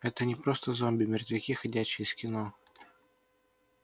это не просто зомби мертвяки ходячие из кино